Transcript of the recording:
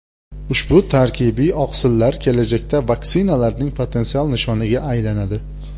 Ushbu tarkibiy oqsillar kelajakda vaksinalarning potensial nishoniga aylanadi.